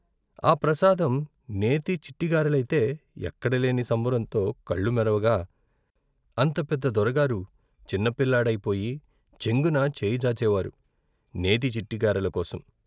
ఆ ప్రసాదం నేతి చిట్టిగారెలయితే ఎక్కడలేని సంబరంతో కళ్ళు మెరవగా అంత పెద్ద దొర గారు చిన్నపిల్లాడైపోయి చెంగున చెయ్యజాచే వారు నేతి చిట్టి గారెల కోసం.